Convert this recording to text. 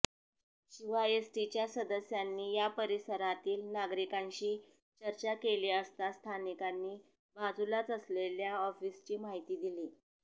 शिवाय एसीटीच्या सदस्यांनी या परिसरातील नागरिकांशी चर्चा केली असता स्थानिकांनी बाजुलाच असलेल्या ऑफिसची माहिती दिली